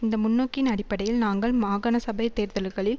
இந்த முன்னோக்கின் அடிப்படையில் நாங்கள் மாகாணசபை தேர்தல்களில்